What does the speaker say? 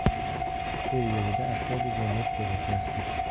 Sergelida avtobus va Nexia to‘qnashdi .